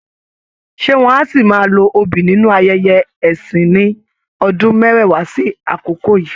Ṣé wọ́n á ṣì máa lo obì nínú ayẹyẹ ẹ̀sìn ní ọdún mẹ́wàá sí àkokò yíì?.